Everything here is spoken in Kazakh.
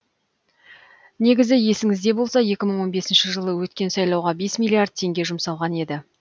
негізі есіңізде болса екі мың он бесінші жылы өткен сайлауға бес миллиард теңге жұмсалған еді